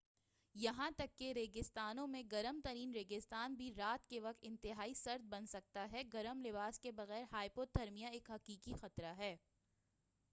یہاں تک کہ ریگستانوں میں گرم ترین ریگستان بھی رات کے وقت انتہائی سرد بن سکتا ہے گرم لباس کے بغیر ہائپوتھرمیا ایک حقیقی خطرہ ہے